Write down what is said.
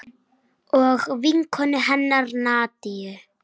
Og vinkonu hennar Nadiu.